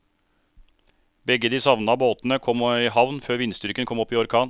Begge de savnede båtene kom i havn før vindstyrken kom opp i orkan.